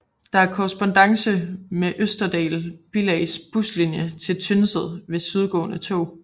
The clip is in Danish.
Der er korrespondance med Østerdal billags buslinie til Tynset ved sydgående tog